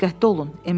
Diqqətli olun.